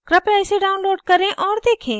कृपया इसे download करें और देखें